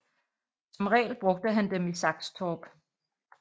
Som regel brugte han dem i Saxtorp